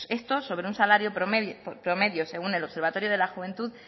esto sobre un salario promedio según el observatorio de la juventud